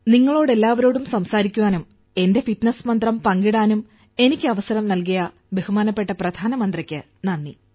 നിങ്ങളോട് എല്ലാവരോടും സംസാരിക്കാനും എന്റെ ഫിറ്റ്നസ് മന്ത്രം പങ്കിടാനും എനിക്ക് അവസരം നൽകിയ ബഹുമാനപ്പെട്ട പ്രധാനമന്ത്രിക്ക് നന്ദി